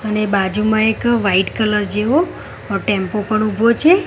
અને બાજુમાં એક વાઈટ કલર જેવો અ ટેમ્પો પણ ઉભો છે.